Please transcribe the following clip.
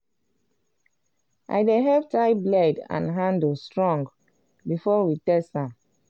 i dey help tie blade and handle strong before we test am.